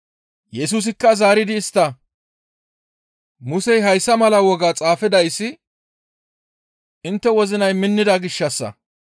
Yesusikka zaaridi istta, «Musey hayssa mala woga xaafidayssi intte wozinay minnida gishshassa.